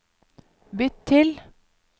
bytt til